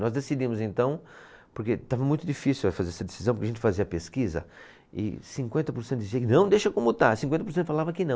Nós decidimos então, porque estava muito difícil, eh fazer essa decisão, porque a gente fazia a pesquisa e cinquenta por cento dizia que não, deixa como está, cinquenta por cento falava que não.